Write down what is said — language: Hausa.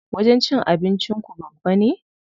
Wajen cin abinci ku babba ne?